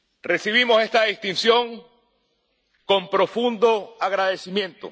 Recibimos esta distinción con profundo agradecimiento.